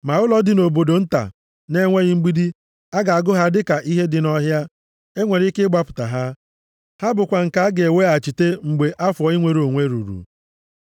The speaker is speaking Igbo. Ma ụlọ ndị dị nʼobodo nta na-enweghị mgbidi a ga-agụ ha dịka ihe dị nʼọhịa. E nwere ike ịgbapụta ha, ha bụkwa nke a ga-eweghachite mgbe afọ inwere onwe ruru.